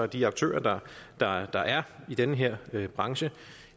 de aktører der er der er i den her branche